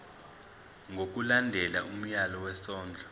ngokulandela umyalelo wesondlo